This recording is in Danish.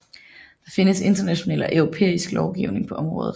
Der findes international og europæisk lovgivning på området